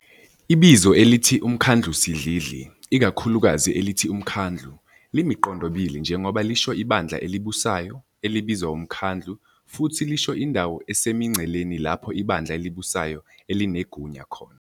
Ibizo elithi "uMkhandlusidlidli", ikakhulukazi elithi "uMkhandlu", limiqondobili njengoba lisho ibandla elibusayo, elibizwa umkhandlu, futhi lisho indawo esemingceleni lapho ibandla elibusayo elinegunya khona.